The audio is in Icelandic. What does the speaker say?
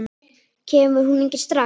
Kemur hún ekki strax?